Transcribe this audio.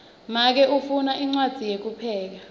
make ufundza incwadzi yekupheka